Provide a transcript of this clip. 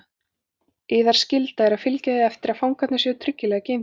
Yðar skylda er að fylgja því eftir að fangarnir séu tryggilega geymdir.